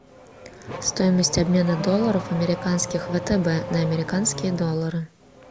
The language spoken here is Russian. стоимость обмена долларов американских втб на американские доллары